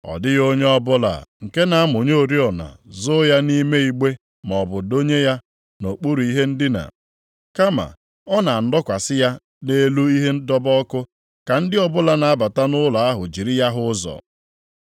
“Ọ dịghị onye ọbụla, nke na-amụnye oriọna zoo ya nʼime igbe maọbụ dọnye ya nʼokpuru ihe ndina. Kama, ọ na-adọkwasị ya nʼelu ihe ịdọba ọkụ ka ndị ọbụla na-abata nʼụlọ ahụ jiri ya hụ ụzọ.